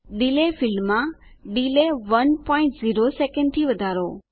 delay ફીલ્ડમાં delay 10 second થી વધારો